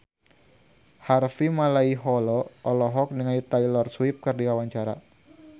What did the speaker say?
Harvey Malaiholo olohok ningali Taylor Swift keur diwawancara